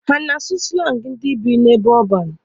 Ha a na-asụ slangi ndị bi n'ebe ọban?